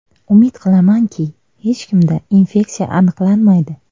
Umid qilamanki, hech kimda infeksiya aniqlanmaydi.